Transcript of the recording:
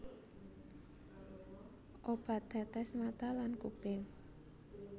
Obat tetes mata lan kuping